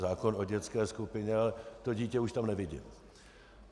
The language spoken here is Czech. Zákon o dětské skupině, ale to dítě už tam nevidím.